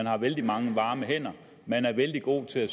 er vældig mange varme hænder og man er vældig god til at